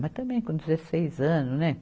Mas também com dezesseis anos, né?